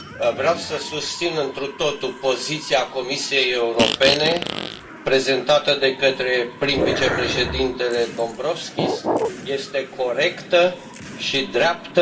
Vreau să susțin întru totul poziția Comisiei Europene prezentată de către prim vicepreședintele Dombrovskis este corectă și dreaptă.